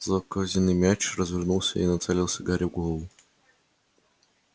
злокозненный мяч развернулся и нацелился гарри в голову